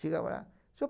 Chegava lá, senhor